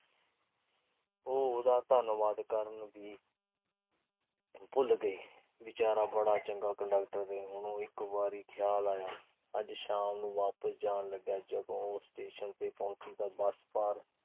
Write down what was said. ਉਹ ਉਹਦਾ ਧੰਨਵਾਦੀ ਕਰਨ ਦੀ ਭੁੱਲ ਗਈ। ਵਿਚਾਰਾ ਬੜਾ ਚੰਗਾ ਕੰਡਕਟਰ ਆ। ਉਹਨੂੰ ਇਕ ਵਾਰ ਖਿਆਲ ਆਇਆ। ਅੱਜ ਸ਼ਾਮ ਨੂੰ ਵਾਪਸ ਜਾਣ ਲੱਗਿਆਂ ਜਦੋਂ ਉਹ ਸਟੇਸ਼ਨ ਤੇ ਪਹੁੰਚੀ ਤਾਂ ਬੱਸ ਭਰ